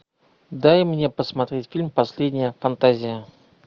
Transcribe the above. дай мне посмотреть фильм последняя фантазия